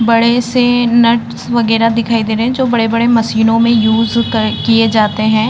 बड़े से नट्स वगैरह दिखाई दे रहे हैं जो बड़े-बड़े मशीनों में यूज़ कर किये जाते हैं।